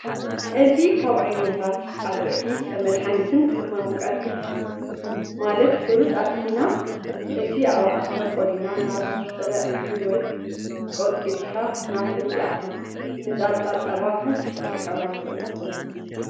እዚ ካብ ዓይነታት ኣዝርእቲ ከም መድሓኒትን ከም መመቅርቲ ማለት ሑሩጭ ኣጥሒና እቲ ኣባዓከ ቆሊና ናብ ጥረእክሊ ወይ ቆቂጥካ ናብ ሑሩጭ ይኣቱ። ንፃልጣ ፀባ ከ ክንጥቀመሉ ንክእል ዶ?